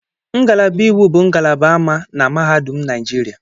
Ngalaba Iwu bụ ngalaba ama ama na mahadum Naịjirịa.